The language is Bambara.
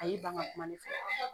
A y' ban ka kuma ne fɛ.